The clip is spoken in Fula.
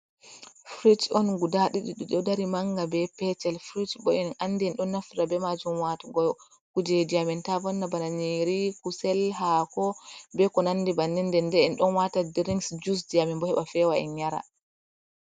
Frij on guda ɗiɗi manga be petel frij bo en ɗon naftira be majum ha watugo kujeji amin ta vonna. Bana irin kusel, hako, be ko nandi bei ko nandi banni. En ɗon wata drinks, jus, amin bo heɓa fewa en yara.